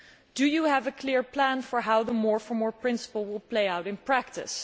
Do you have a clear plan for how the more for more' principle will play out in practice?